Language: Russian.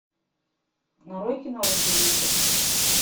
нарой кино разделитель